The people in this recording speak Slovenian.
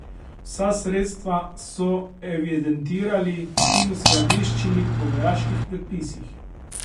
Vsa sredstva so evidentirali in uskladiščili po vojaških predpisih.